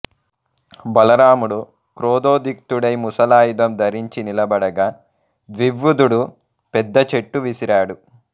బలరాముడు క్రోధోధిక్తుడై ముసలాయుధం ధరించి నిలబడగా ద్వివుదుడు పెద్ద చెట్టు విసిరాడు